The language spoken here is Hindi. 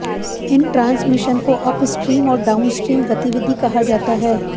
इन ट्रांसमिशन को अपस्ट्रीम और डाउनस्ट्रीम गतिविधि कहा जाता है